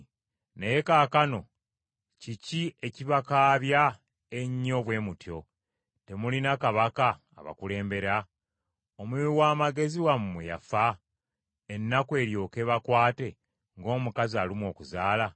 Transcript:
Naye kaakano kiki ekibakaabya ennyo bwe mutyo? Temulina kabaka abakulembera? Omuwi w’amagezi wammwe yafa, ennaku eryoke ebakwate ng’omukazi alumwa okuzaala?